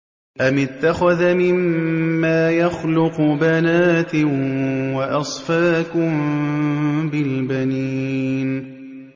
أَمِ اتَّخَذَ مِمَّا يَخْلُقُ بَنَاتٍ وَأَصْفَاكُم بِالْبَنِينَ